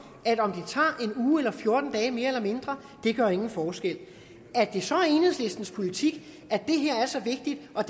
at om det tager en uge eller fjorten dage mere eller mindre ikke gør nogen forskel at det så er enhedslistens politik at det her er så vigtigt og